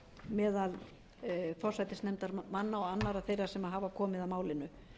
meðal forsætisnefndarmanna og annarra þeirra sem hafa komið að málinu